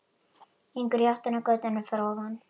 Gengur í áttina að götunni fyrir ofan.